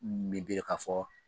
k'a fɔ